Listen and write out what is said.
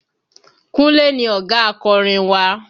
Kúnlé ni ọ̀gá akorin wa